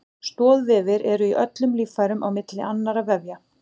Stoðvefir eru í öllum líffærum á milli annarra vefja.